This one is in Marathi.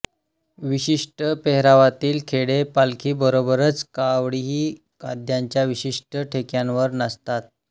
विशिष्ट पेहरावातील खेळे पालखीबरोबरच कावडही वाद्यांच्या विशिष्ट ठेक्यांवर नाचवतात